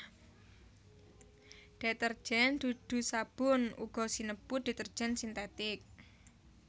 Detergen dudu sabun uga sinebut detergen sintetik